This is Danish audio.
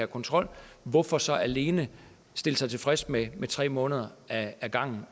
kontrol hvorfor så alene stille sig tilfreds med tre måneder ad gangen